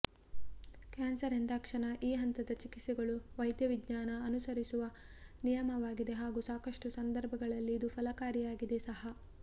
cancer ಎಂದಾಕ್ಷಣ ಈ ಹಂತದ ಚಿಕಿತ್ಸೆಗಳು ವೈದ್ಯವಿಜ್ಞಾನ ಅನುಸರಿಸುವ ನಿಯಮವಾಗಿದೆ ಹಾಗೂ ಸಾಕಷ್ಟು ಸಂದರ್ಭಗಳಲ್ಲಿ ಇದು ಫಲಕಾರಿಯಾಗಿದೆ ಸಹಾ